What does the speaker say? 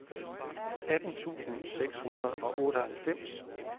atten tusind seks hundrede og otteoghalvfems